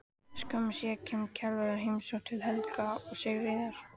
Skömmu síðar kemur Kjarval í heimsókn til Helga og Sigríðar.